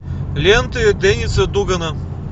ленты денниса дугана